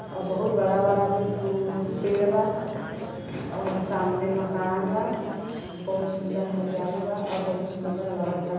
अ बहुत बड़ा-बड़ा भी कुल पेड़ बा औ सामने मकान बा। बहुत सुंदर हरियाली बा औ बहुत सुंदर लगता।